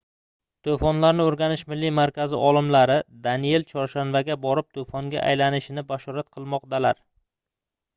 toʻfonlarni oʻrganish milliy markazi olimlari daniel chorshanbaga borib toʻfonga aylanishini bashorat qilmoqdalar